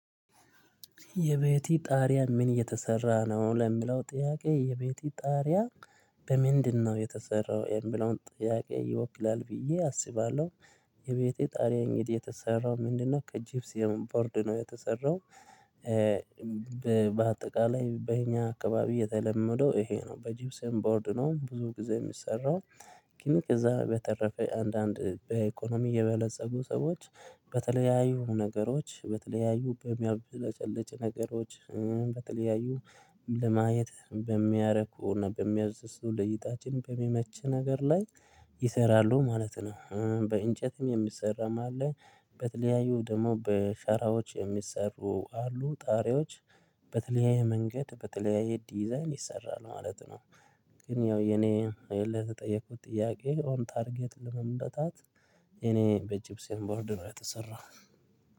የቤቴ ጣሪያ ምን እየተሰራ ነው ለምለው ጥያቄ የቤቴ ጣሪያ በምንድነው የተሰራው የሚለውን ጥያቄ ይወክላል ብዬ አስባለሁ። የቤቴ ጣሪያ እንግዲህ የተሰራው ምንድነው? ከጂፕሰም ቦርድ ነው የተሰራው። በአጠቃላይ በእኛ አካባቢ የተለመደው ይሄ ነው በጅብስም ቦርድ ነው ብዙ ጊዜ የሚሰራው። ግን እዛ በተረፈ አንዳንድ በኢኮኖሚ የበለፀጉ ሰዎች። በተለያዩ ነገሮች በተለያዩ በሚያብለጨልጭ ነገሮች በተለያዩ ለማየት በሚያረኩ እና በሚያዝዙ ለእይታችን በሚመች ነገር ላይ ይሰራሉ ማለት ነው። በእንጨትም የምሰራ ማለት በተለያዩ ደግሞ በሸራዎች የሚሰሩ አሉ ጣሪያዎች። በተለያየ መንገድ በተለያየ ዲዛይን ይሰራል ማለት ነው። ግን ያው የኔ አይደል ተጠየቁት ጥያቄ ኦን ታርጌት ለመምታት የእኔ በጅፕሰም ቦርድ ብለው የተሰራው።